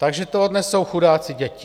Takže to odnesou chudáci děti.